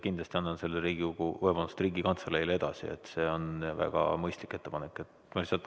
Kindlasti annan selle Riigikantseleile edasi, see on väga mõistlik ettepanek.